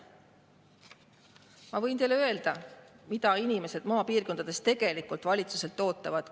Ma võin teile öelda, mida inimesed maapiirkondades tegelikult valitsuselt ootavad.